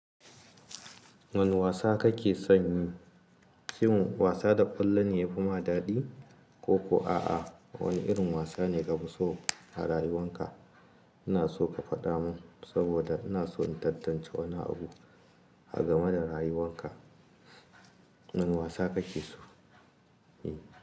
Wane wasa kake son yi? Shin wasa da ƙwallo ne yafi ma daɗi ko ko a'a wani irin wasa ne ka fi so a rayuwan ka? Ina so ka faɗa mun saboda ina so in tantance wani abu a game da rayuwan ka. Wane wasa kake so yi?